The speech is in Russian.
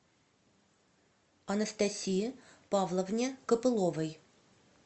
анастасии павловне копыловой